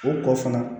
O kɔ fana